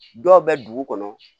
Dɔw bɛ dugu kɔnɔ